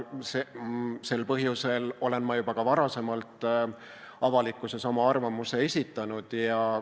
Sel põhjusel olen ma juba ka varasemalt avalikkuses oma arvamuse esitanud.